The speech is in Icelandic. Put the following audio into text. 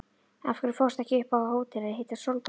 Af hverju fórstu ekki upp á hótel að hitta Sólborgu?